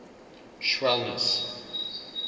schwellnus